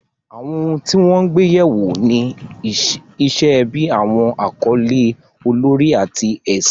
Àwọn ohun tí wọ́n gbé yẹ̀ wò ni iṣẹ́ ẹbí, àwọn àkọlé olórí, àti ẹ̀sìn.